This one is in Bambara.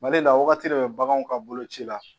Mali la wagati de bɛ baganw ka boloci la